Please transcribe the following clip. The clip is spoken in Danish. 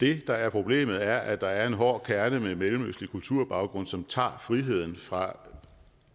det der er problemet er at der er en hård kerne med mellemøstlig kulturbaggrund som tager friheden fra